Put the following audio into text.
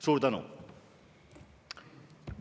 Suur tänu!